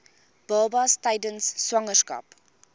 babas tydens swangerskap